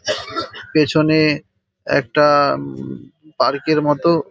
পেছনে-এ একটা উ-ম-ম- পার্ক -এর মতো --